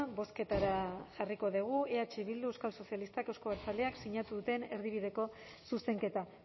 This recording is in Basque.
bozketara jarriko dugu eh bildu euskal sozialistak euzko abertzaleak sinatu duten erdibideko zuzenketa